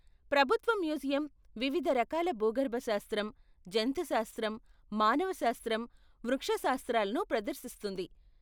ప్రభుత్వ మ్యూజియం వివిధ రకాల భూగర్భ శాస్త్రం, జంతు శాస్త్రం, మానవ శాస్త్రం, వృక్షశాస్త్రాలను ప్రదర్శిస్తుంది.